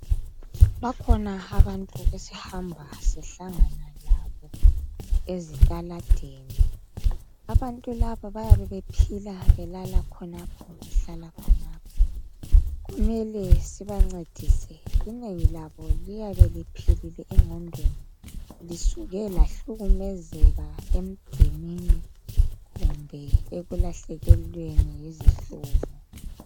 Bakhona abantu esihamba sihlangana labo ezitaladeni. Abantu laba bayabe bephila belala khonapho behlala khonapho. Kumele sibancedise, inengi labo liyabe liphilile engqondweni lisuke lahlukumezeka emdenini kumbe ekulahlekelelweni yizihlobo.